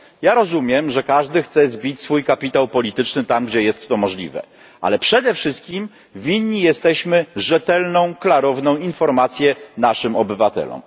Ja rozumiem, że każdy chce zbić swój kapitał polityczny tam, gdzie jest to możliwe, ale przede wszystkim winni jesteśmy rzetelną, klarowną informację naszym obywatelom.